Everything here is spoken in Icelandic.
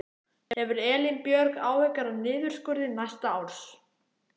Hefur Elín Björg áhyggjur af niðurskurði næsta árs?